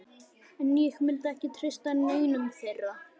En ég myndi ekki treysta neinum þeirra.